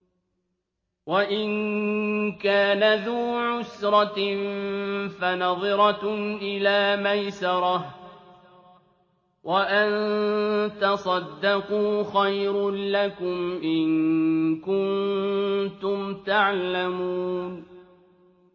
وَإِن كَانَ ذُو عُسْرَةٍ فَنَظِرَةٌ إِلَىٰ مَيْسَرَةٍ ۚ وَأَن تَصَدَّقُوا خَيْرٌ لَّكُمْ ۖ إِن كُنتُمْ تَعْلَمُونَ